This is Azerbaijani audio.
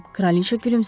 Kraliça gülümsədi.